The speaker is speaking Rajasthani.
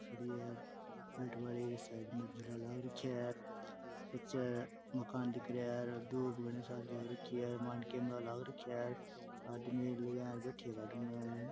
मकान दिख रहा है आदमी यहाँ बैठे है गार्डन में।